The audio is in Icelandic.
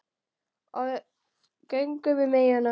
Og við göngum um eyjuna.